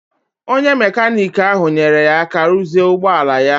Onye mekaniki ahụ nyeere ya aka ruzie ụgbọala ya